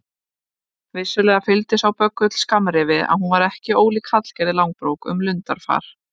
Vissulega fylgdi sá böggull skammrifi að hún var ekki ólík Hallgerði Langbrók um lundarfar.